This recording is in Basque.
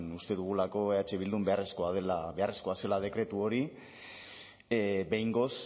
uste dugulako eh bildun beharrezkoa zela dekretu hori behingoz